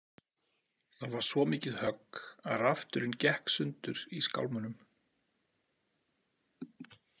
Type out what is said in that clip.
Það var svo mikið högg að rafturinn gekk sundur í skálmunum.